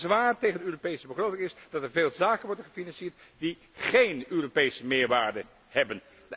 Mijn bezwaar tegen de Europese begroting is dat er veel zaken worden gefinancierd die géén Europese meerwaarde hebben.